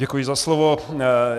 Děkuji za slovo.